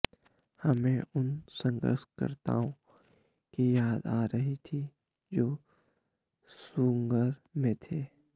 हमें उन संघर्षकर्ताओं की याद आ रही थी जो सूसंगर में थे